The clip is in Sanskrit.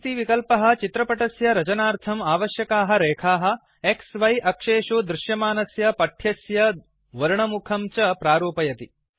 एक्सिस् विकल्पः चित्रपटस्य रचनार्थम् आवश्यकाः रेखाः X Y अक्षेषु दृश्यमानस्य पठ्यस्य वर्णमुखं च प्रारूपयतिफार्मेट् करोति